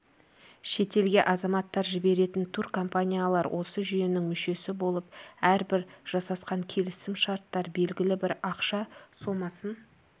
шетелге азаматтар жіберетін туркомпаниялар осы жүйенің мүшесі болып әрбір жасасқан келісім шарттан белгілі бір ақша сомасын